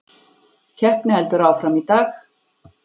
Keppni heldur áfram í dag